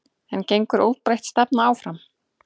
En gengur óbreytt stefna áfram?